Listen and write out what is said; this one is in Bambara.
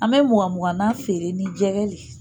An bɛ muga muga na feere ni jɛgɛ le ye